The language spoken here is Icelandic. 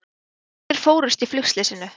Allir fórust í flugslysinu